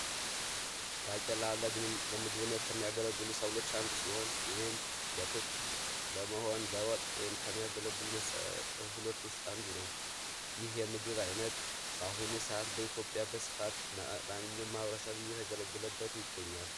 ባቄላ ለምግብነት ከሚያገለግሉት ሰብሎች ውስጥ አንዱ ሲሆን በክክ በመሆን ለወጥ ከሚያገለግሉ ሰብሎች ውስጥ አንዱ ነው። ይህ የመግብ አይነት በአሁኑ ሰዓት በኢትዮጵያ በስፋት ማንኛውም ማህበረሰብ እየተገለገለበት ይገኛል።